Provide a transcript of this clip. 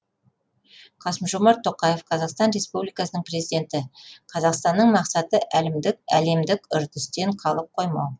қасым жомарт тоқаев қазақстан республикасының президенті қазақстанның мақсаты әлемдік үрдістен қалып қоймау